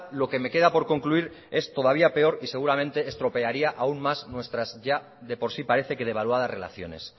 lo que me queda por concluir es todavía peor y seguramente estropearía aun más nuestras ya de por sí parece que devaluadas relaciones